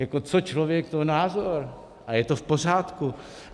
Jako co člověk, to názor a je to v pořádku.